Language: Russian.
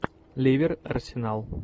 ливер арсенал